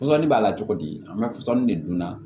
Pɔsɔni b'a la cogo di an bɛ fɔsɔnni de dun na